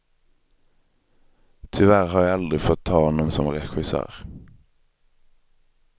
Tyvärr har jag aldrig fått ha honom som regissör.